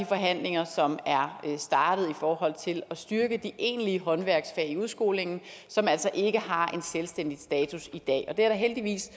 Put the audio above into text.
forhandlinger som er startet i forhold til at styrke de egentlige håndværksfag i udskolingen som altså ikke har en selvstændig status i dag og det er der heldigvis